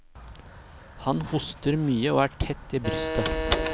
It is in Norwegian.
Han hoster mye og er tett i brystet.